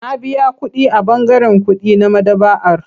Na biya kuɗi a ɓangaren kuɗi na maɗaba'ar.